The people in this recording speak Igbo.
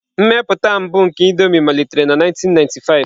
Mmepụta mbụ nke Indomie malitere na 1995.